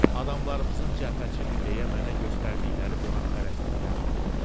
Adamlarımızın cəbhəçidir deyə mənə göstərdikləri qonaqpərvərlikdənmi?